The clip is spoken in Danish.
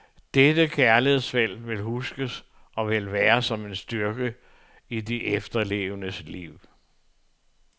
Dette kærlighedsfelt vil huskes, og vil være, som en styrke i de efterlevendes liv.